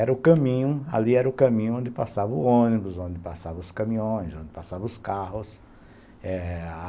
Era o caminho ali era o caminho onde passavam ônibus, onde passavam os caminhões, onde passavam os carros.